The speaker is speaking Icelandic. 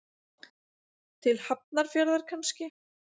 Til Hafnarfjarðar kannski.